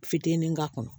Fitinin k'a kɔnɔ